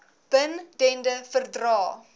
bin dende verdrae